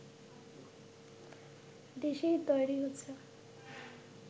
দেশেই তৈরি হচ্ছে